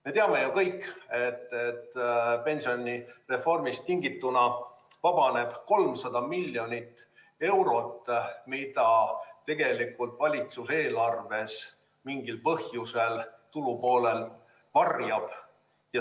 Me teame ju kõik, et pensionireformist tingituna vabaneb 300 miljonit eurot, mida tegelikult valitsus eelarves mingil põhjusel tulupoolel varjab.